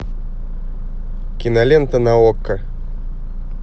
кинолента на окко